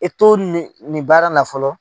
e to nin nin baara na fɔlɔ.